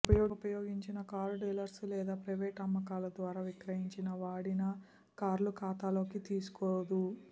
ఉపయోగించిన car dealers లేదా private అమ్మకాలు ద్వారా విక్రయించిన వాడిన కార్లు ఖాతాలోకి తీసుకోదు